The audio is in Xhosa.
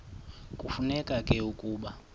kufuneka ke ukuba